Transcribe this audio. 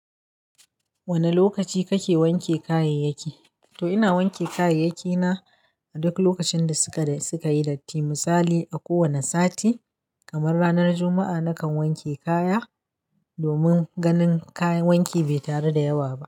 Wane lokaci kake wanke kayayyaki? To ina wanke kayayyaki na a duk lokacin da suka yi datti. Misali, a kowane sati, kamar ranar Juma'a, nakan wanke kaya domin ganin kayan wanki bai taru da yawa ba.